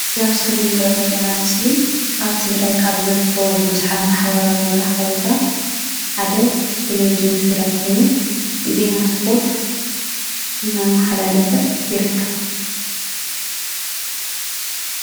እዚ ኣብ እስክሪን እንሪኦ ዘለና ምስሊ ኣብ ትግራይ ካብ ዝርከቡ ብዙሓት ማሕበራዊ መራከብታት ሓደ ቴሊቭዥን ትግራይ ኮይኑ ዜና ስፖርት እናመሓላለፈ ይርከብ::